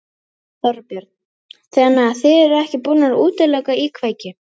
Þorbjörn: Þannig þið eruð ekki búnir að útiloka íkveikju?